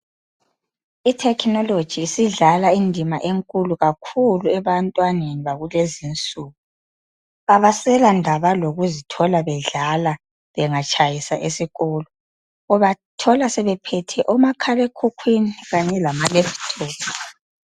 Ithekhinoloji isidlala indima enkulu kakhulu ebantwaneni bakulezinsuku abaselandaba lokuzithola bedlala bengatshayisa esikolo. Ubathola sebephethe omakhalekhukhwini kanye lamalephuthophu.